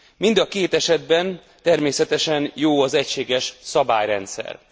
Mind a két esetben természetesen jó az egységes szabályrendszer.